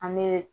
An bɛ